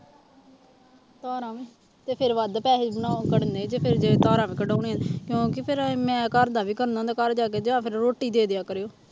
ਧਾਰਾਂ, ਤੇ ਫਿਰ ਵੱਧ ਪੈਸੇ ਬਣਾ ਕਰਨੇ ਜੇ ਫਿਰ ਜੇ ਧਾਰਾਂ ਕਢਾਉਣੀਆਂ ਕਿਉਂਕਿ ਫਿਰ ਮੈਂ ਘਰਦਾ ਵੀ ਕਰਨਾ ਹੁੰਦਾ ਘਰ ਜਾ ਕੇ ਤੇ ਜਾਂ ਫਿਰ ਰੋਟੀ ਦੇ ਦਿਆ ਕਰਿਓ।